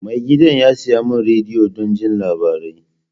Maigidana ya sayo min rediyo don jin labarai.